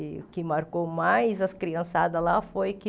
E o que marcou mais as criançadas lá foi que